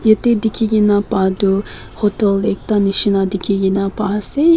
yete dikhi kena paa toh hotel ekta nishena dikhi kena paa ase.